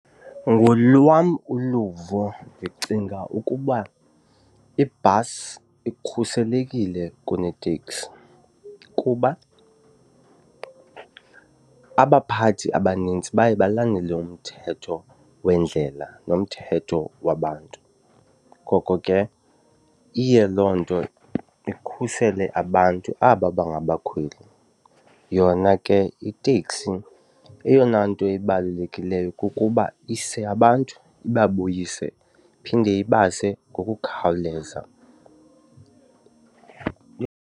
Ngolwam uluvo ndicinga ukuba ibhasi ikhuselekile kuneteksi kuba abaphathi abanintsi baye balandele umthetho wendlela nomthetho wabantu, ngoko ke iye loo nto ikhusele abantu aba bangabakhweli. Yona ke iteksi eyona nto ibalulekileyo kukuba ise abantu ibabuyise, phinde ibase ngokukhawuleza.